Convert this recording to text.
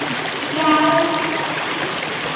Já, já, þannig.